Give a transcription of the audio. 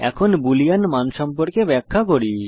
এখন আমি বুলিয়ান মান সম্পর্কে ব্যাখ্যা করব